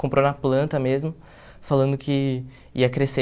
Comprou na planta mesmo, falando que ia crescer.